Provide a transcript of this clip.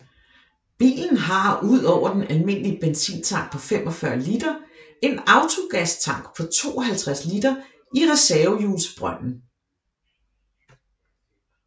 Bilen har udover den almindelige benzintank på 45 liter en autogastank på 52 liter i reservehjulsbrønden